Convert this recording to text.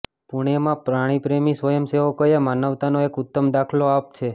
પુણેમાં પ્રાણીપ્રેમી સ્વયંસેવોકએ માનવતાનો એક ઉત્તમ દાખલો આપ્ છે